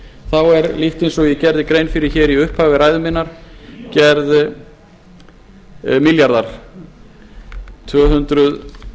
þá er líkt og ég gerði grein fyrir í upphafi ræðu minnar gerð milljarðar milljarðar í stað tvö hundruð